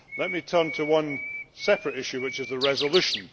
Let me turn to a separate issue, which is the resolution.